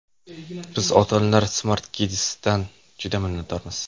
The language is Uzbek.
Biz ota-onalar Smart Kids’dan juda minnatdormiz!